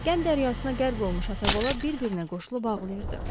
Qəm dəryasına qərq olmuş ata-bala bir-birinə qoşulub ağlayırdı.